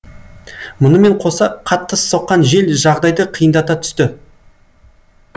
мұнымен қоса қатты соққан жел жағдайды қиындата түсті